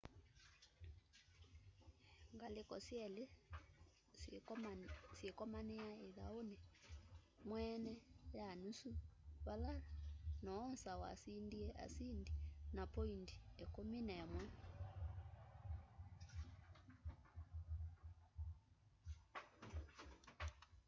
ngaliko syeli syikomania ithauni mweene ya nusu vala noosa wasindie asindi na poindi 11